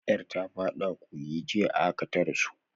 Yar ta fada kogi jiya, a haka ta rasu.